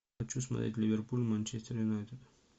хочу смотреть ливерпуль манчестер юнайтед